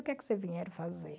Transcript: O que é que vocês vieram fazer?